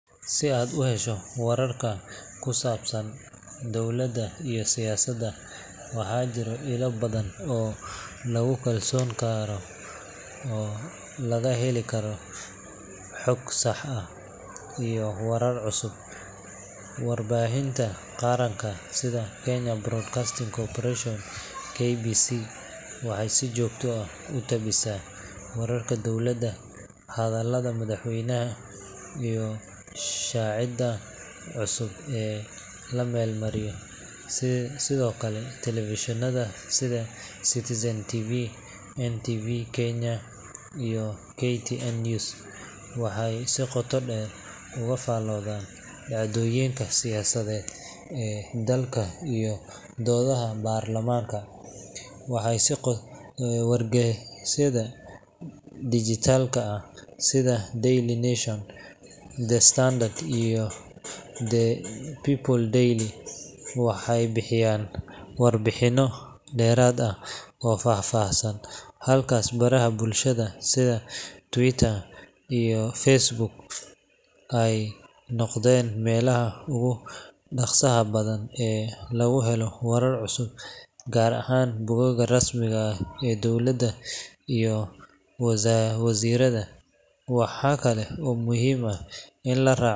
Si aad u hesho wararka ku saabsan dowladda iyo siyaasadda, waxaa jira ilo badan oo lagu kalsoonaan karo oo laga heli karo xog sax ah iyo warar cusub. Warbaahinta qaranka sida Kenya Broadcasting Corporation (KBC) waxay si joogto ah u tabisaa wararka dowladda, hadallada madaxweynaha, iyo sharciyada cusub ee la meel mariyo. Sidoo kale, telefishinada sida Citizen TV, NTV Kenya, iyo KTN News waxay si qoto dheer uga faalloodaan dhacdooyinka siyaasadeed ee dalka iyo doodaha baarlamaanka. Wargeysyada dhijitaalka ah sida Daily Nation, The Standard, iyo People Daily waxay bixiyaan warbixino dheeraad ah oo faahfaahsan, halka baraha bulshada sida Twitter iyo Facebook ay noqdeen meelaha ugu dhaqsaha badan ee lagu helo wararka cusub, gaar ahaan bogagga rasmiga ah ee dowladda iyo wasiirrada. Waxa kale oo muhiim ah in la raaco.